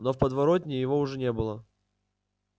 но в подворотне его уже не было